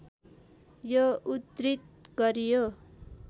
यो उद्धृत गरियो